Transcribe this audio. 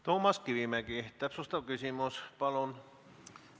Toomas Kivimägi täpsustav küsimus, palun!